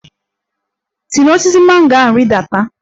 Si n'osisi mango ahụ rịdata!